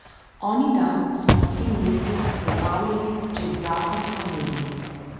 Oni dan smo na tem mestu zabavljali čez zakon o medijih.